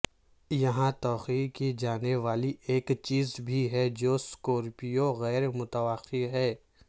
یہاں توقع کی جانے والی ایک چیز بھی ہے جو سکورپیو غیر متوقع ہے